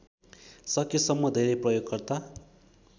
सकेसम्म धेरै प्रयोगकर्ता